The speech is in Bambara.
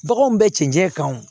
Baganw bɛ cɛncɛn kan o